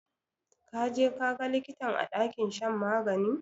Ka je ka ga likitan a ɗakin shan magani?